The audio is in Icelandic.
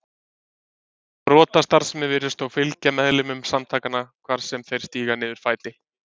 Brotastarfsemi virðist þó fylgja meðlimum samtakanna hvar sem þeir stíga niður fæti.